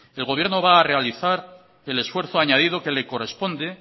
el gobierno va a realizar el esfuerzo añadido que le corresponde